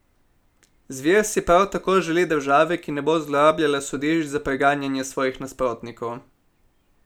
Zver si prav tako želi države, ki ne bo zlorabljala sodišč za preganjanje svojih nasprotnikov.